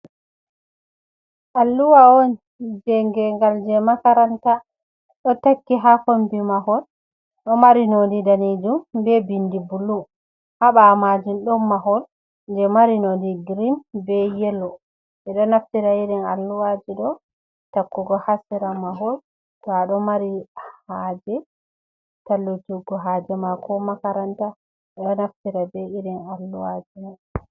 alluha on je geengal je makaranta ɗo takki haa kombi mahol, ɗo mari nondi danijum bee bindi bulu, haa ɓaawo maajun ɗon mahol je mari nondi green bee yelo, ɓe ɗo naftira irin alluwaji ɗo takkugo haa sera mahol, to a ɗo mari haaje tallutuggo haje mako makaranta ɓe do naftira be irin alluhaaji mayj..